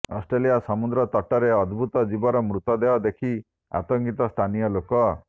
Australia ସମୁଦ୍ର ତଟରେ ଅଦ୍ଭୁତ ଜୀବର ମୃତଦେହ ଦେଖି ଆତଙ୍କିତ ସ୍ଥାନୀୟ ଲୋକ